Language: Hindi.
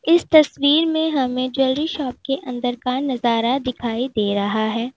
इस तस्वीर में हमें ज्वेलरी शॉप के अंदर का नजारा दिखाई दे रहा है।